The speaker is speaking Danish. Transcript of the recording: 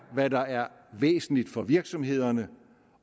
hvad der er væsentligt for virksomhederne